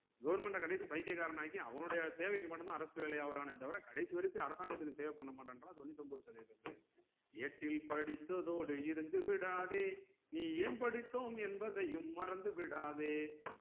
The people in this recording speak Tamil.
goverment அ கடைசி பைத்தியகாரன ஆக்கி அவனுடைய தேவைக்கு மட்டும் தான் அரசு வேலை ஆவுரானே தவிர கடைசி வரைக்கும் அரசாங்கத்துக்கு சேவை பண்ண மாட்டேங்குறான் தொன்னுத்தொன்பது சதவிதம் பேர் ஏட்டில் படித்ததோடு இருந்துவிடாதே நீ ஏன் படித்தோம் என்பதையும் மறந்துவிடாதே